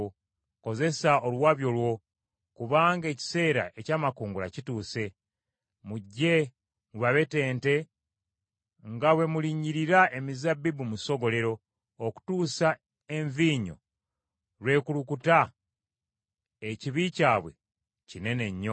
Kozesa oluwabyo lwo, kubanga ekiseera eky’amakungula kituuse. Mujje mubabetente nga bwe mulinnyirira emizabbibu mu ssogolero okutuusa envinnyo lw’ekulukuta, ekibi kyabwe kinene nnyo.”